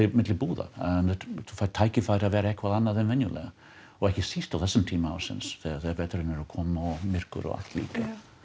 milli búða þú færð tækifæri til að vera eitthvað annað en venjulega og ekki síst á þessum tíma ársins þegar veturinn er að koma og myrkur og allt líka